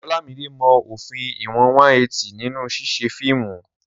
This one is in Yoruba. Olamide mọ òfin ìwọ̀n 180 nínú ṣíṣe fíìmù.